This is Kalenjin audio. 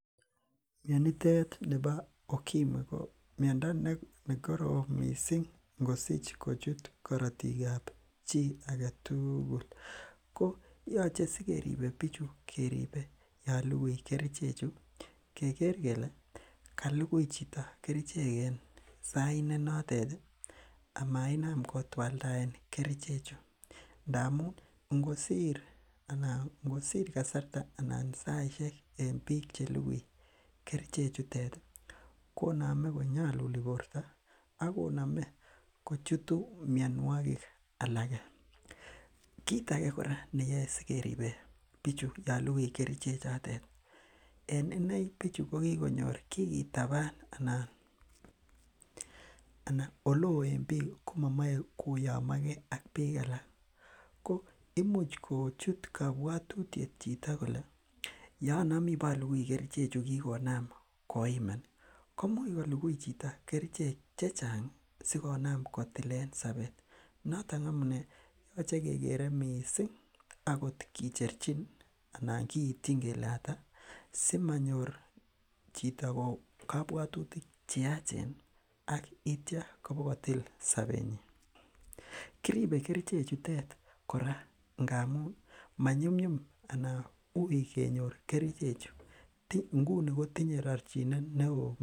Mionitet nibo ukimwi ko miondo nekorom missing ngosich kochut korotik ab chii aketugul ko yoche sikeribe bichu keribe yon lukui kerichek chu keker kele kalukui chito kerichek en sait ne notet ih amainam kotwaldaen kerichek chu ndamun ngosir kasarta anan saisiek en biik chelukui kerichek chutet ih konome konyoluli borto akonome kochutu mionwogik alak, kit age kora neyoe sikeribe bichu yon lukui kerichek chotet en inei bichu kokikonyor kikitaban ana eleoo en biik komomoe koyomo ak biik alak ko imuch kochut kobwotutiet chito kole yeonomii abolukui kerichek chu kikonam koiman komuch kolukui chito kerichek chechang sikonam kotilen sobet noton amunee yoche kekere missing akot kicherchin ana kiityin kele ata simanyor chito kobwotutik cheyachen ak itya kobakotil sobetnyin. Kiribe kerichek chutet kora ngamun manyumnyum ana uui kenyor kerichek chu nguni kotinye rorchinet neoo